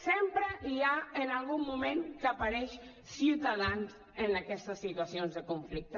sempre hi ha en algun moment que apareix ciutadans en aquestes situacions de conflicte